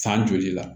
San joli la